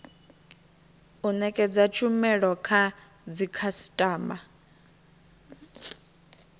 u nekedza tshumelo kha dzikhasitama